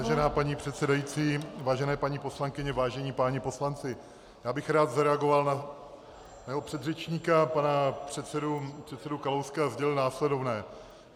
Vážená paní předsedající, vážené paní poslankyně, vážení páni poslanci, já bych rád zareagoval na mého předřečníka, pana předsedu Kalouska, a sdělil následovné.